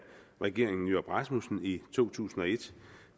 regeringen nyrup rasmussen i to tusind og et